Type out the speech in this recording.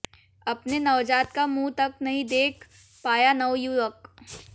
अपने नवजात का मुंह तक नही देख पाया नवयुवक